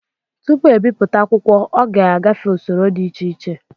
Tupu ebipụta akwụkwọ ọ ga-agafe usoro dị iche iche